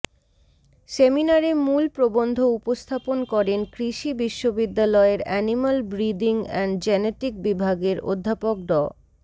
সেমিনারে মূল প্রবন্ধ উপস্থাপন করেন কৃষি বিশ্ববিদ্যালয়ের অ্যানিম্যাল ব্রিদিং অ্যান্ড জেনেটিক বিভাগের অধ্যাপক ড